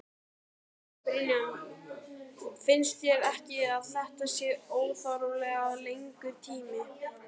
Brynja: Finnst þér ekki að þetta sé óþarflega langur tími?